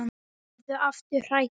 Verður aftur hrædd.